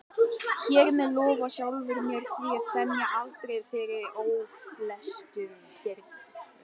Hér með lofa ég sjálfri mér því að semja aldrei fyrir ólæstum dyrum